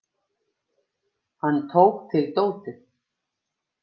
Hann tók til dótið.